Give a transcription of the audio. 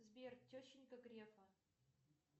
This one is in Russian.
сбер тещенька грефа